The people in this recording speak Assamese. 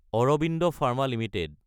Arvind pharma Ltd